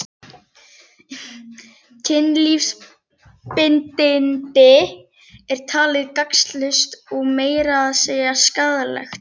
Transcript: Kynlífsbindindi er talið gagnslaust og meira að segja skaðlegt.